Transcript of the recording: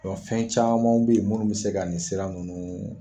fɛn camanw be yen munnu be se ka nin sira nunnu